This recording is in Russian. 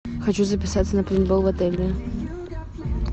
хочу записаться на пейнтбол в отеле